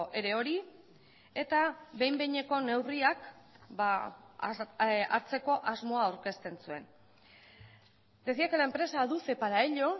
ere hori eta behin behineko neurriak hartzeko asmoa aurkezten zuen decía que la empresa aduce para ello